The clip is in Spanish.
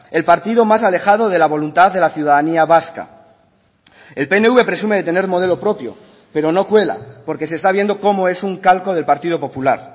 el partido más alejado de la voluntad de la ciudadanía vasca el pnv presume de tener modelo propio pero no cuela porque se está viendo como es un calco del partido popular